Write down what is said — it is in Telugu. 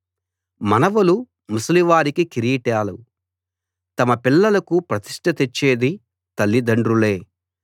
మనవలు ముసలివారికి కిరీటాలు తమ పిల్లలకు ప్రతిష్ట తెచ్చేది తల్లి దండ్రులే